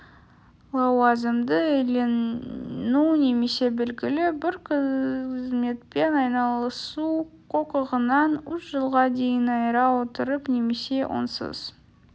лауазымды иелену немесе белгілі бір қызметпен айналысу құқығынан үш жылға дейін айыра отырып немесе онсыз